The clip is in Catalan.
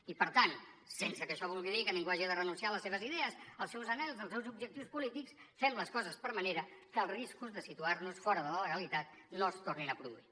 i per tant sense que això vulgui dir que ningú hagi de renunciar a les seves idees als seus anhels als seus objectius polítics fem les coses per manera que els riscos de situar nos fora de la legalitat no es tornin a produir